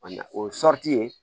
o ye ye